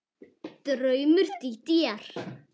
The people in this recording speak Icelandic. Draumur Dídíar